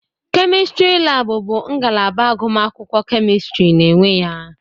Kemịstịrị laabụ bụ ngalaba agụmakwụkwọ Kemịstịrị na-enwe ya.